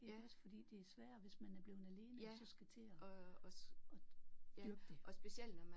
Også fordi det er sværere hvis man er blevet alene og så skal til at at dyrke det